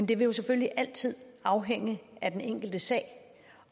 det vil jo selvfølgelig altid afhænge af den enkelte sag